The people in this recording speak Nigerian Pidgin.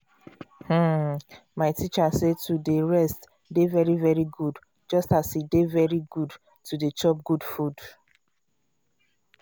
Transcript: hmm my teacher say to dey rest dey very very good just as e dey very good to dey chop good food